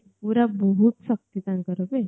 ପୁରା ବହୁତ ଶକ୍ତି ତାଙ୍କର ନାହିଁ